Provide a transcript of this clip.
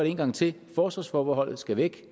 en gang til forsvarsforbeholdet skal væk